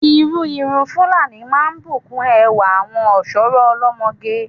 Irú irun Fúlàní máa ń bù kún ẹwà àwọn ọ̀ṣọ́rọ́ olọ́mọge.